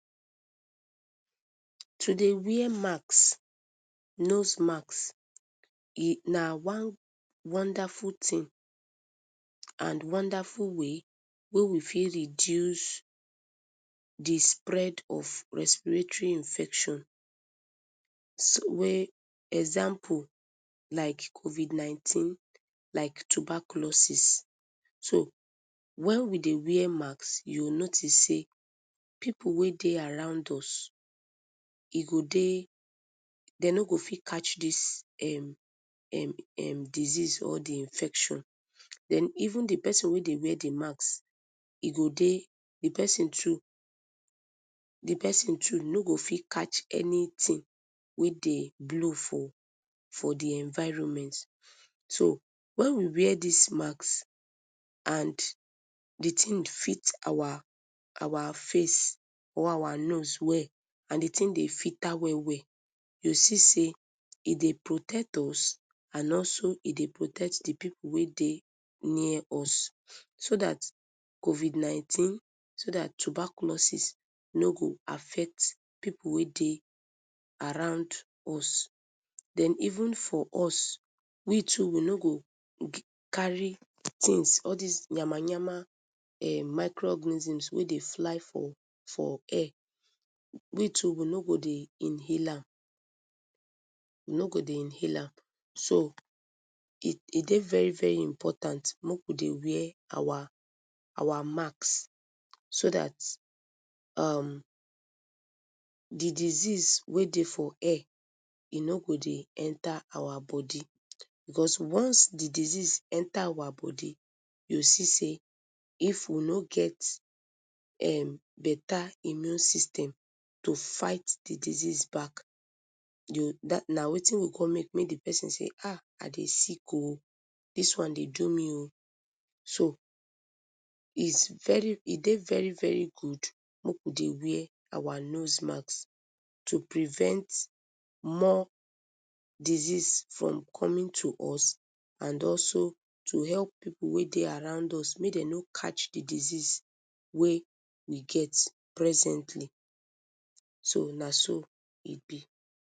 To dey wear mask, nose mask na one wonderful thing and wonderful way wey we fit reduce d spread of respiratory infection, wey, example like covid 19 like tuberculosis, so wen we dey wear make u go notice sey pipu wey dey around us e go dey, dem no go fit catch dis disease or infection and even d persin wey dey wear d mask e go, d persin too no go fit catch anything wey dey blow for d environment, so wen we wear dis mask and d tin fit our face our nose or our face well and d thing dey filter well well u go see sey e dey protect us and also e dey protect d pipu wey dey near us, so dat covid 19, so dat tuberculosis no go affect d pipu wey dey around us then even for us we too we no go carry all dis yamayama micro organisms wey dey fly for air, we too we no go dey inhale am, we no go dey inhale am, so e dey very very important make we dey wear our mask, so dat um d disease wey dey for air e no go de yenta our body because once d disease enta our body, u go see sey if we no get beta immune system to fight d disease back, na wetin go con make persin dey say ahh, I dey sick ohh, dis one dey do me o, so e dey very very good make we dey wear our nose mask to prevent more disease from coming to us and also to help pipu wey dey around us make dem no catch d disease wey get presently, so naso e b.